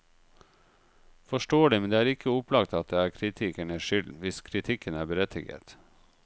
Forståelig, men det er ikke opplagt at det er kritikernes skyld hvis kritikken er berettiget.